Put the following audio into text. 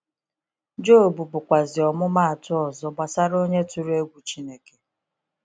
Job bụ kwazi ọmụmụ atụ ọzọ gbasara onye tụrụ egwu Chineke.